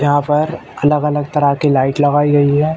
यहाँ पर अलग-अलग तरह की लाइट लगाई गयी है।